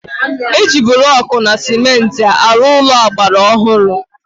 Eji blọkụ na cementị arụ Ụlọ agbara ọhụrụ